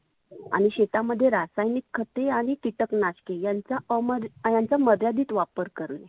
आणि शेतामध्ये रासायनीक खते आणि किटक नाषके यांचा अमर्या मर्यादीत वापर करणे.